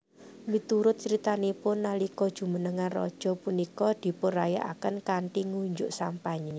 Miturut critanipun nalika jumenengan raja punika dipunrayakaken kanthi ngunjuk sampanye